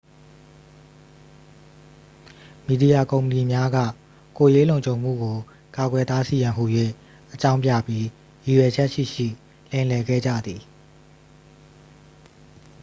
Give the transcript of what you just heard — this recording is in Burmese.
"မီဒီယာကုမ္ပဏီများက "ကိုယ်ရေးလုံခြုံမှုကို ကာကွယ်တားဆီးရန်" ဟူ၍ အကြောင်းပြပြီး ရည်ရွယ်ချက်ရှိရှိ လိမ်လည်ခဲ့ကြသည်။